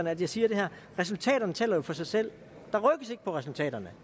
at jeg siger det her resultaterne taler for sig selv resultaterne